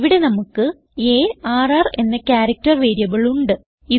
ഇവിടെ നമുക്ക് ആർ എന്ന ക്യാരക്ടർ വേരിയബിൾ ഉണ്ട്